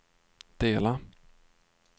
dela